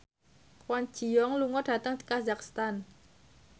Kwon Ji Yong lunga dhateng kazakhstan